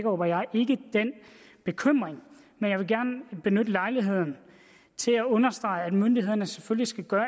og jeg ikke den bekymring men jeg vil gerne benytte lejligheden til at understrege at myndighederne selvfølgelig skal gøre